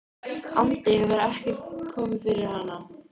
andi hefur ekkert komið fyrir hana.